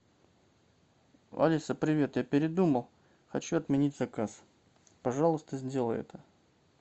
алиса привет я передумал хочу отменить заказ пожалуйста сделай это